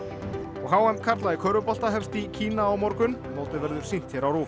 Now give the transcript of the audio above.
og h m karla í körfubolta hefst í Kína á morgun mótið verður sýnt hér á RÚV